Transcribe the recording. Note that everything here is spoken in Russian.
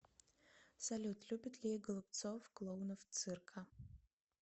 салют любит ли голубцов клоунов цирка